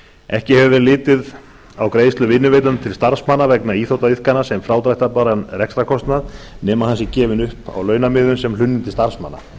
ekki hefur verið litið á greiðslur vinnuveitanda til starfsmanna vegna íþróttaiðkunar sem frádráttarbæran rekstrarkostnað nema hann sé gefinn upp á launamiðum sem hlunnindi starfsmanna